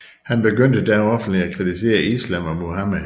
Han begyndte da offentligt at kritisere Islam og Muhammed